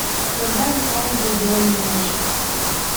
когда в исландии белые ночи